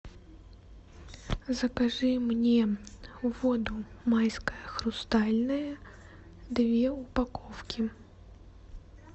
закажи мне воду майская хрустальная две упаковки